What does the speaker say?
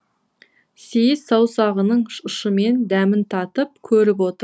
сейіс саусағының ұшымен дәмін татып көріп отыр